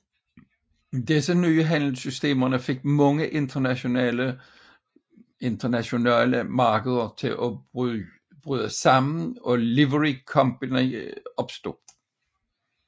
Disse nye handelssystemer fik mange internationale markeder til at bryde sammen og Livery Company opstod